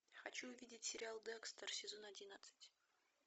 хочу увидеть сериал декстер сезон одиннадцать